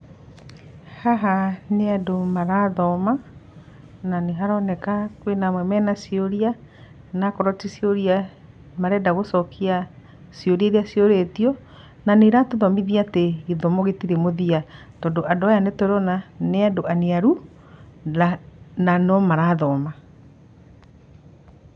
Haha nĩ andũ marathoma na nĩ haroneka kwĩna amwe mena ciũria na akorwo ti ciũria meranda gũcokia ciũria irĩa ciũrĩtio, na nĩ iratũthomithia atĩ gĩthomo gĩtirĩ mũthia, tondũ andũ aya nĩtũrona nĩ andũ aniaru na no andũ marathoma.